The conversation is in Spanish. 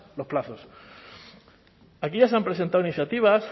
los plazos aquí ya se han presentado iniciativas